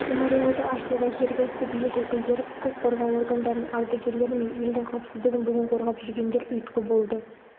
мемориалды ашуға жергілікті билік өкілдері құқық қорғау органдарының ардагерлер мен елдің қауіпсіздігін бүгін қорғап жүргендер ұйытқы болды